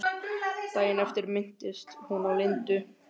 Daginn eftir minntist hún á Lindu.